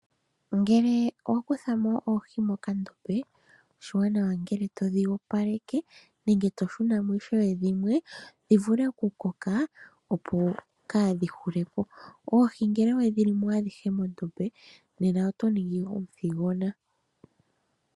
Ngele wa kutha mo oohi mokandombe oshiwanawa ngele todhi opaleke nenge to shuna mo ishewe dhimwe dhi vule oku koka opo kaadhi hule po. Oohi ngele wedhi limo adhihe mondombe nena oto ningi omuthigona.